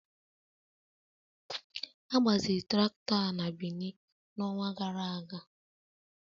A gbaziri traktọ a na Benin n'ọnwa gara aga.